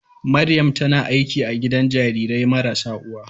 Maryam tana aiki a gidan jarirai marasa uwa.